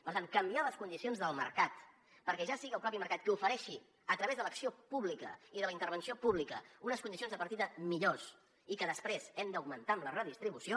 per tant canviar les condicions del mercat perquè ja sigui el mateix mercat qui ofereixi a través de l’acció pública i de la intervenció pública unes condicions de partida millors i que després hem d’augmentar amb la redistribució